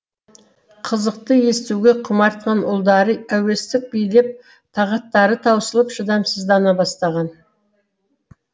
қызықты естуге құмартқан ұлдарды әуестік билеп тағаттары таусылып шыдамсыздана бастаған